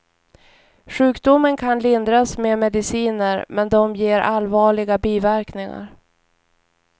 Sjukdomen kan lindras med mediciner, men de ger allvarliga biverkningar.